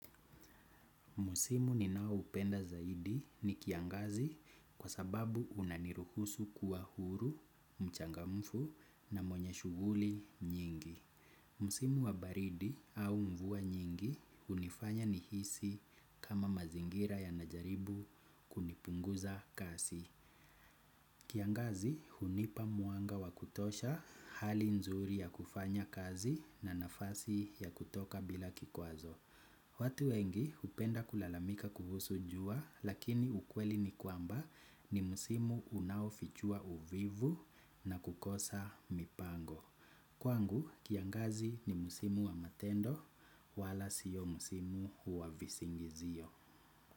Musimu ninao hupenda zaidi ni kiangazi kwa sababu unaniruhusu kuwa huru, mchangamfu na mwenye shughuli nyingi. Musimu wa baridi au mvua nyingi hunifanya nihisi kama mazingira yanajaribu kunipunguza kazi kiangazi hunipa mwanga wa kutosha hali nzuri ya kufanya kazi na nafasi ya kutoka bila kikwazo. Watu wengi hupenda kulalamika kuhusu jua lakini ukweli ni kwamba ni musimu unaofichua uvivu na kukosa mipango. Kwangu kiangazi ni musimu wa matendo wala sio musimu wa visingizio.